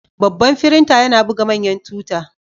Babban firinta yana buga manyan tuta.